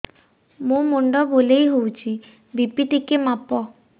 ମୋ ମୁଣ୍ଡ ବୁଲେଇ ହଉଚି ବି.ପି ଟିକେ ମାପ